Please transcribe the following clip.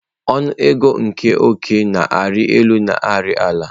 Ọnụ ego nke ọ́kẹ́ na-arị elu na ari ala.